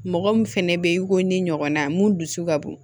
Mɔgɔ min fɛnɛ be yen i ko ni ɲɔgɔnna mun dusu ka bon